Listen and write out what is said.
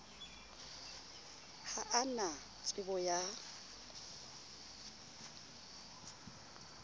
ha a na tsebo ya